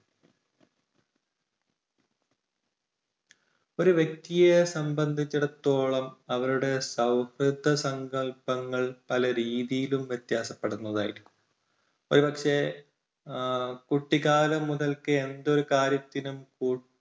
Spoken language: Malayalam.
ഒരു വ്യക്തിയെ സംബന്ധിച്ചിടത്തോളം അവരുടെ സൗഹൃദ സങ്കല്പങ്ങൾ പലരീതിയിലും വ്യത്യാസപ്പെടുന്നത് ആയിരിക്കും. ഒരുപക്ഷേ ഏഹ് കുട്ടിക്കാലം മുതൽക്കേ എന്തൊരു കാര്യത്തിനും